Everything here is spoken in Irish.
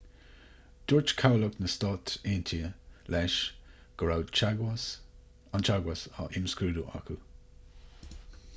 dúirt cabhlach na s.a. leis go raibh an teagmhas á imscrúdú acu